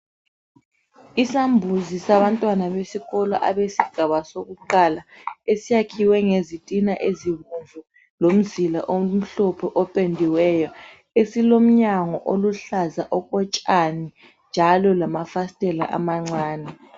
Isambuzi sabantwana besikolo abesigaba sokuqala, esiyakhiwe ngezitina ezibomvu lomzila omhlophe opendiweyo. Esilomnyango oluhlaza okotshani njalo lamafastela amancane.